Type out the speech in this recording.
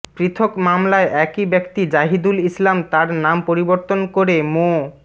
পৃথক মামলায় একই ব্যক্তি জাহিদুল ইসলাম তার নাম পরিবর্তন করে মো